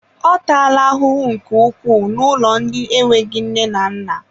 Ọ taala ahụhụ nke ukwuu n'ụlọ ndị enweghị nne na nna